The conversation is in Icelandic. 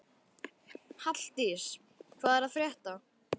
Halldís, hvað er að frétta?